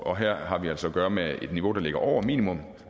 og her har vi altså at gøre med et niveau der ligger over minimum